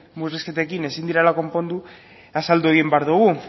murrizketekin ezin direla konpondu azaldu egin behar dugu